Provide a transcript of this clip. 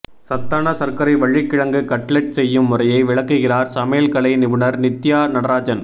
சத்தான சர்க்கரை வள்ளிக்கிழங்கு கட்லெட் செய்யும் முறையை விளக்குகிறார் சமையல்கலை நிபுணர் நித்யா நடராஜன்